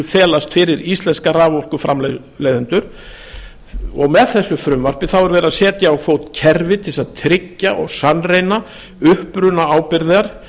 felast fyrir íslenska raforkuframleiðendur og með þessu frumvarpi þá er verið að setja á fót kerfi til þess að tryggja og sannreyna upprunaábyrgð